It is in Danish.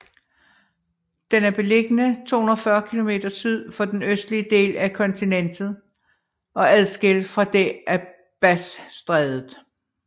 Den er beliggende 240 km syd for den østlige del af kontinentet og adskilt fra det af Bassstrædet